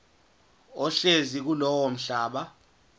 ohlezi kulowo mhlaba